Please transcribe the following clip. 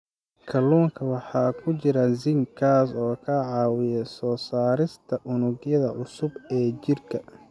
Kalluunka waxaa ku jira zinc, kaas oo ka caawiya soo saarista unugyada cusub ee jirka.